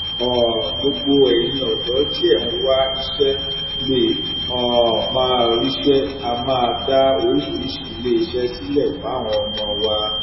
um gbogbo ẹyin ọdọ tí ẹ ń wá iṣẹ lè um máa ríṣẹ á máa dá oríṣiríṣiì iléeṣẹ sílẹ fáwọn ọmọ wa